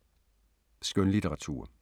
Skønlitteratur